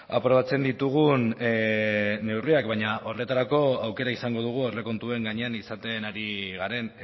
aprobatzen ditugun neurriak baina horretarako aukera izango dugu aurrekontuen gainean izaten ari garen